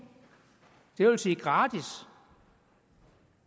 det vil sige gratis